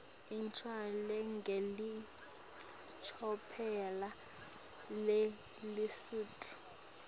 icanjwe ngelicophelo lelisetulu